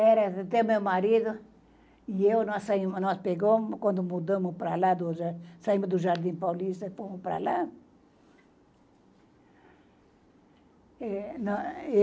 Era, até o meu marido e eu, nós saímos, nós pegamos quando mudamos para lá, saímos do Jardim Paulista e fomos para lá. eh, não, eu